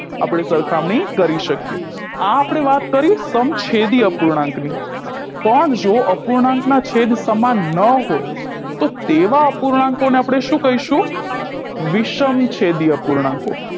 આપણે સરખામણી કરી શકીએ આ આપણે વાત કરી સમછેદી અપૂર્ણાંકની પણ જો અપૂર્ણાંકના છેદ સમાન ન હોય તો તેવા અપૂર્ણાંકોને આપણે શું કહીશું વિષમછેદી અપૂર્ણાંકો